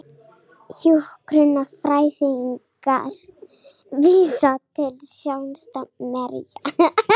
Hjúkrunarfræðingar vísa til sáttasemjara